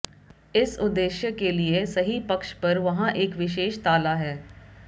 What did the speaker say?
इस उद्देश्य के लिए सही पक्ष पर वहाँ एक विशेष ताला है